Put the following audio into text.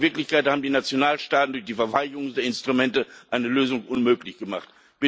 Aber in Wirklichkeit haben die Nationalstaaten durch die Verweigerung der Instrumente eine Lösung unmöglich gemacht.